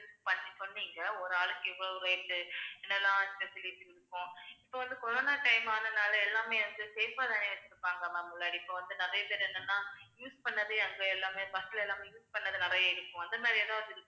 பண்ணி சொன்னீங்க ஒரு ஆளுக்கு இவ்வளவு rate என்னெல்லாம் facilities இருக்கும் இப்போ வந்து corona time ஆனனால எல்லாமே வந்து safe ஆ தானே இருந்துப்பாங்க ma'am முன்னாடி இப்ப வந்து நிறைய பேர் என்னன்னா use பண்ணதே அங்க எல்லாமே bus ல எல்லாமே use பண்ணது நிறைய இருக்கும் அந்த மாதிரி ஏதாவது.